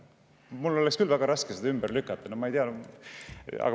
Mul oleks küll väga raske seda ümber lükata.